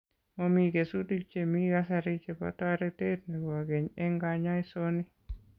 Momii kesutik che mii kasari chebo toretet nebo keny eng' kanyaisoni.